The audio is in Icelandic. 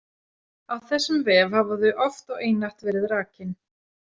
Á þessum vef hafa þau oft og einatt verið rakin.